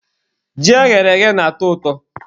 Ji eghere eghe na-atọ ụtọ.